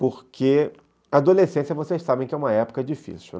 Porque adolescência vocês sabem que é uma época difícil.